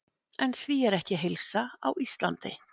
En því er ekki að heilsa á Íslandi.